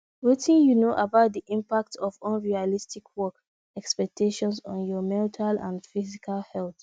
wetin you know about di impact of unrealistic work expectations on your mental and physical health